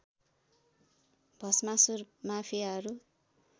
Bhasmasur माफियाहरू